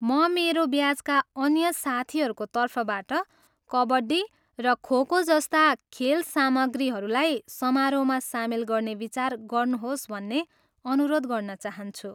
म मेरो ब्याचका अन्य साथीहरूको तर्फबाट कबड्डी र खो खो जस्ता खेल सामग्रीहरूलाई समारोहमा सामेल गर्न विचार गर्नुहोस् भन्ने अनुरोध गर्न चाहन्छु।